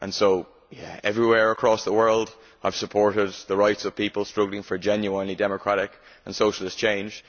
So everywhere across the world I have supported the rights of peoples struggling for a genuinely democratic and socialist change.